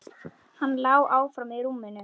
Hann lá áfram í rúminu.